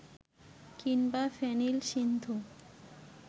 কিংবা ফেনিল সিন্ধু